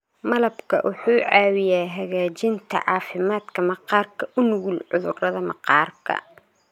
Malabka wuxuu caawiyaa hagaajinta caafimaadka maqaarka u nugul cudurrada maqaarka.